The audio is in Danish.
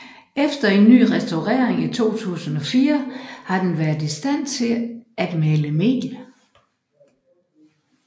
Efter en ny restaurering i 2004 har den været i stand til at male mel